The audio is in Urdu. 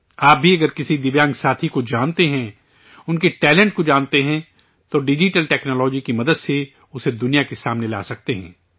آپ بھی اگر کسی دویانگ ساتھی کو جانتے ہیں، ان کے ٹیلنٹ کو جانتے ہیں، تو ڈیجیٹل ٹیکنالوجی کی مدد سے اسے دنیا کے سامنے لا سکتے ہیں